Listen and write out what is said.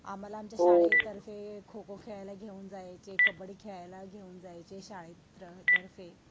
आम्हाला आमच्या शाळेतर्फे खोखो खेळायला घेऊन जायचे, कब्बडी खेळायला घेऊन जायचे शाळे तर्फे.